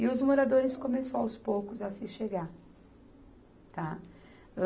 E os moradores começou aos poucos a se chegar, tá. Âh